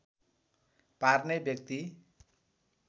पार्ने व्यक्ति